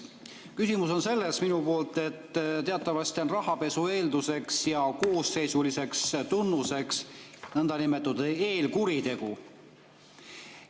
Minu küsimus on selles, et teatavasti on rahapesu eelduseks ja koosseisuliseks tunnuseks nõndanimetatud eelkuritegu.